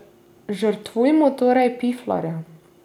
Žrtvujmo torej piflarja.